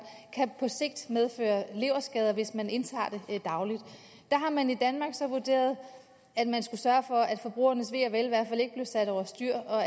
på sigt kan medføre leverskader hvis man indtager det dagligt der har man i danmark vurderet at man skulle sørge for at forbrugernes ve og vel i hvert fald ikke blev sat over styr og